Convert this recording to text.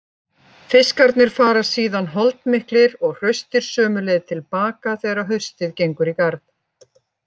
Fiskarnir fara síðan holdmiklir og hraustir sömu leið til baka þegar haustið gengur í garð.